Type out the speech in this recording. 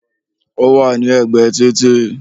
Ó wà ní ẹ̀gbẹ́ títì